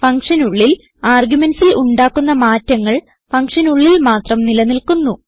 ഫങ്ഷനുള്ളിൽ argumentsൽ ഉണ്ടാക്കുന്ന മാറ്റങ്ങൾ ഫങ്ഷനുള്ളിൽ മാത്രം നിലനിൽക്കുന്നു